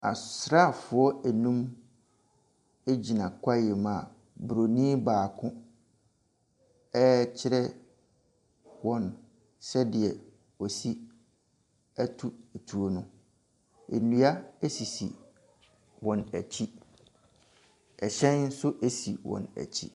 Asraafoɔ nnum gyina kwaeɛ mu a buroni baako rekyerɛ wɔn sɛdeɛ wɔsi to tuo no. Nnua sisi wɔn akyi. Hyɛn nso si wɔn akyi.